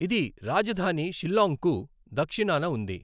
ఇది రాజధాని షిల్లాంగ్కు దక్షిణాన ఉంది.